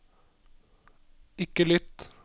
ikke lytt